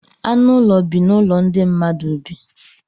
Anụ ụlọ bi n'ụlọ ndị mmadụ bi.